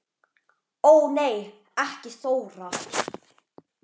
Ó nei ekki Þóra